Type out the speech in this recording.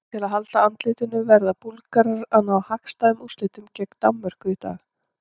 Til að halda andlitinu verða Búlgarar því að ná hagstæðum úrslitum gegn Danmörku í dag.